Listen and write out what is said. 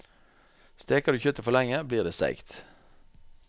Steker du kjøttet for lenge, blir det seigt.